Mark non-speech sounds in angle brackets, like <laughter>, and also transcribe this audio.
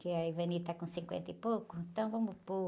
Que a <unintelligible> tá com cinquenta e pouco, então vamos por...